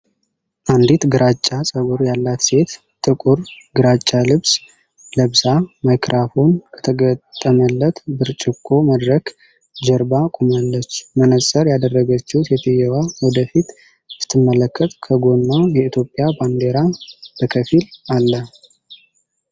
አንዲት ግራጫ ፀጉር ያላት ሴት ጥቁር ግራጫ ልብስ ለብሳ ማይክሮፎን ከተገጠመለት ብርጭቆ መድረክ ጀርባ ቆማለች። መነፅር ያደረገችው ሴትየዋ ወደ ፊት ስትመለከት ከጎኗ የኢትዮጵያ ባንዲራ በከፊል አለ።